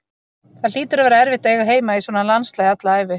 Það hlýtur að vera erfitt að eiga heima í svona landslagi alla ævi.